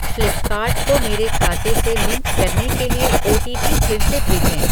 Flipkart को मेरे खाते से लिंक करने के लिए ओटीपी फिर से भेजें ।